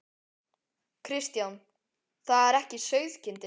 Kristján: Það er ekki sauðkindin?